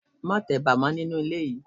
Má teba mọ nínú ilé yìí.